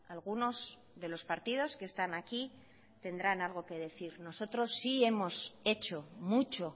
algunos de los partidos que están aquí tendrán algo que decir nosotros sí hemos hecho mucho